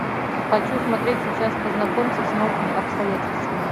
хочу смотреть сейчас познакомься с новыми обстоятельствами